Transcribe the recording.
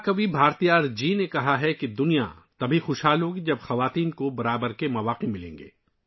مہا کوی بھارتیار جی نے کہا ہے کہ دنیا تب ہی ترقی کرے گی ، جب خواتین کو مساوی مواقع ملیں گے